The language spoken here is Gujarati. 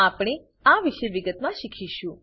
આપણે આ વિશે વિગતમાં શીખીશું